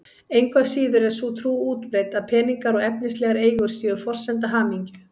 Engu að síður er sú trú útbreidd að peningar og efnislegar eigur séu forsenda hamingju.